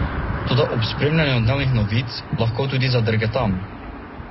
Toda ob spremljanju dnevnih novic lahko tudi zadrgetam.